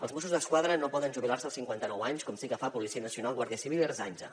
els mossos d’esquadra no poden jubilar se als cinquanta nou anys com sí que fa la policia nacional guàrdia civil i ertzaintza